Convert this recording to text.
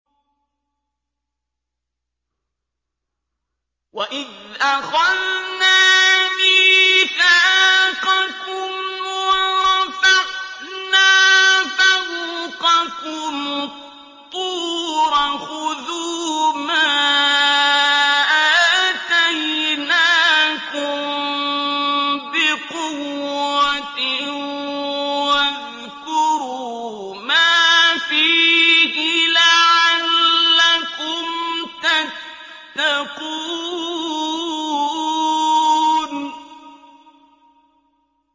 وَإِذْ أَخَذْنَا مِيثَاقَكُمْ وَرَفَعْنَا فَوْقَكُمُ الطُّورَ خُذُوا مَا آتَيْنَاكُم بِقُوَّةٍ وَاذْكُرُوا مَا فِيهِ لَعَلَّكُمْ تَتَّقُونَ